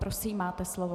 Prosím, máte slovo.